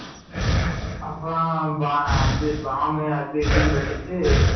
அப்பறம் பாம் அது, இதுனு வெடிச்சு,